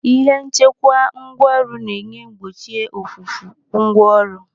Ihe nchekwa ngwaọrụ na-enye gbochie ofufu ngwa ọrụ.